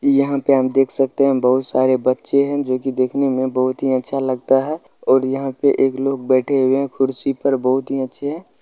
इ यहां पे हम देख सकते हैं बहुत सारे बच्चे हैं जो की देखने में बहुत ही अच्छा लगता है और यहां पे एक लोग बैठे हुए हैं कुर्सी पे बहुत ही अच्छे हैं।